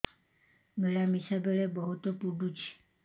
ମିଳାମିଶା ବେଳେ ବହୁତ ପୁଡୁଚି